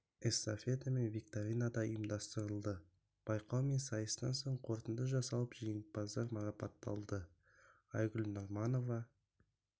эстафета мен викторина да ұйымдастырылды байқау мен сайыстан соң қорытынды жасалып жеңімпаздар марапатталды айгүл нұрманова